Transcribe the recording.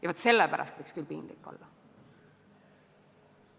Ja vaat sellepärast võiks küll piinlik olla.